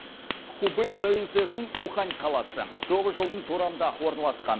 хубэй провинциясының ухань қаласы тоғыз жолдың торабында орналасқан